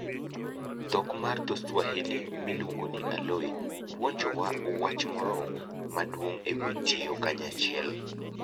Dhok mar dho-Swahili miluongo ni, aloe puonjowa wach moro maduong' e wi tiyo kanyachiel.